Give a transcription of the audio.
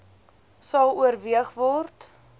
sal oorweeg word